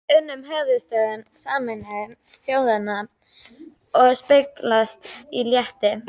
unum á höfuðstöðvum Sameinuðu þjóðanna og speglast í létt